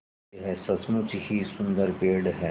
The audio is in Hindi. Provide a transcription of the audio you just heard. यह सचमुच ही सुन्दर पेड़ है